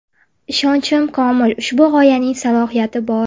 Ishonchim komil, ushbu g‘oyaning salohiyati bor.